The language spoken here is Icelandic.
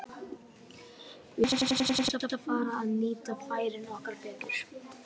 Við þurfum aðeins að fara að nýta færin okkar betur.